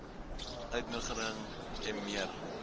uitnodiging m eer